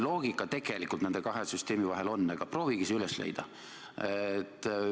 Loogika tegelikult nende kahe süsteemi vahel on, aga proovige see üles leida.